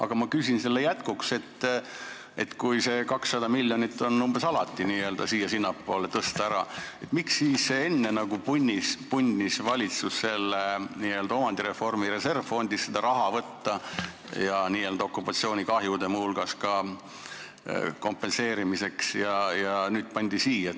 Aga ma küsin selle jätkuks, et kui see umbes 200 miljonit on alati n-ö siia-sinnapoole tõsta, miks siis valitsus enne punnis seda raha omandireformi reservfondist võtta, muu hulgas ka okupatsioonikahjude kompenseerimiseks, ja nüüd pandi see siia.